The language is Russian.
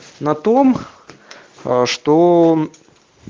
на том ээ что